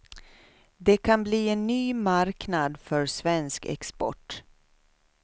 Det kan bli en ny marknad för svensk export.